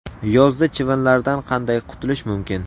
Yozda chivinlardan qanday qutulish mumkin?.